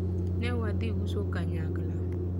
ne wadhi uso kanyakla